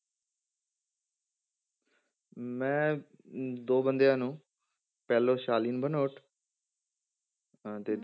ਮੈਂ ਅਮ ਦੋ ਬੰਦਿਆਂ ਨੂੰ ਪਹਿਲੋਂ ਸਾਲਿਨ ਭਨੋਟ ਅਹ ਤੇ